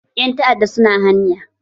Ƴan ta'adda su na hanya.